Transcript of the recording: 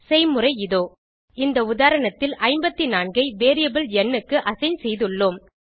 செய்முறை இதோ இந்த உதாரணத்தில் 54 ஐ வேரியபிள் ந் க்கு அசைன் செய்துள்ளோம்